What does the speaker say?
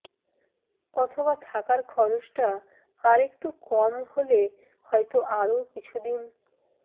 অথবা থাকার খরচটা আরেকটু কম হলে হয়তো আরও কিছুদিন